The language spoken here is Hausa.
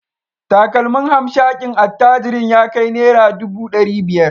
Takalmin hamshakin attajirin ya kai naira dubu dari biyar